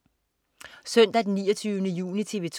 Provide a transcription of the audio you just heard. Søndag den 29. juni - TV 2: